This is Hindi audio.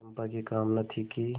चंपा की कामना थी कि